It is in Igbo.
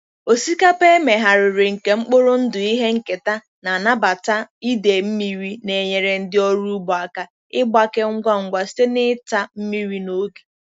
Osikapa emegharịrị nke mkpụrụ ndụ ihe nketa na nnabata idei mmiri na-enyere ndị ọrụ ugbo aka ịgbake ngwa ngwa site na ịta mmiri n'oge.